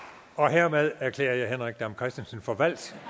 hermed erklærer jeg herre henrik dam kristensen for valgt og